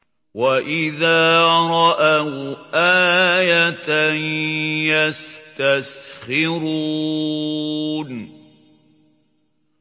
وَإِذَا رَأَوْا آيَةً يَسْتَسْخِرُونَ